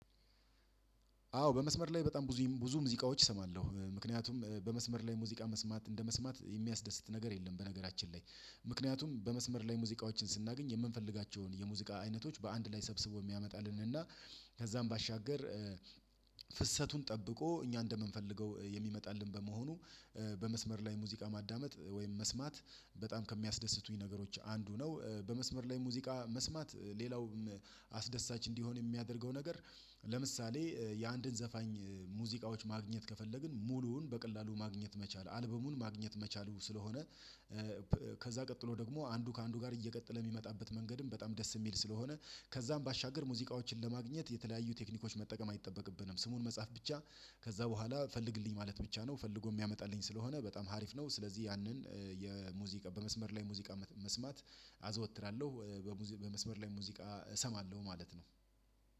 አዎ በመስመር ላይ በጣም ብዙ ሙዚቃዎች እሰማለሁ ምክንያቱም በመስመር ላይ ሙዚቃ መስማት እንደመስማት የሚያስደስት ነገር የለም። በነገራችን ላይ ምክንያቱም በመስመር ላይ ሙዚቃዎችን ስናገኝ የምንፈልጋቸውን የሙዚቃ አይነቶች በአንድ ላይ ሰብስቦ የሚያመጣልንን እና ከዛም ባሻገር ፍሰቱን ጠብቆ እኛ እንደምንፈልገው የሚመጣልን በመሆኑ። በመስመር ላይ ሙዚቃ ማዳመጥ ወይም መስማት በጣም ከሚያስደስቱኝ ነገሮች አንዱ ነው። በመስመር ላይ ሙዚቃ መስማት ሌላውም አስደሳች እንዲሆን የሚያደርገው ነገር። ለምሳሌ የአንድን ዘፋኝ ሙዚቃዎች ማግኘት ከፈለግን ሙሉውን በቀላሉ ማግኘት መቻል አልበሙን ማግኘት መቻሉ ስለሆነ። ከዛ ቀጥሎ ደግሞ አንዱ ከአንዱ ጋር እየቀጠለ የሚመጣበት መንገድም በጣም ደስ የሚል ስለሆነ። ከዛም ባሻገር ሙዚቃዎችን ለማግኘት የተለያዩ ቴክኒኮች መጠቀም አይጠበቅብንም ስሙን መጻፍ ብቻ ከዛ በኋላ ፈልግልኝ ማለት ብቻ ነው ፈልጎ የሚያመጣልኝ ስለሆነ በጣም ሀሪፍ ነው። ስለዚህ ያንን የሙዚቃ በመስመር ላይ ሙዚቃ መስማት አዘወትራለሁ በሙዚቃ በመስመር ላይ ሙዚቃ እሰማለሁ ማለት ነው።